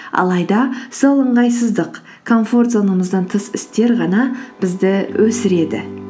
алайда сол ыңғайсыздық комфорт зонамыздан тыс істер ғана бізді өсіреді